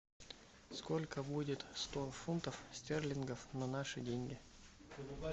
сколько будет сто фунтов стерлингов на наши деньги